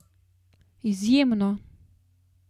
Izjemno!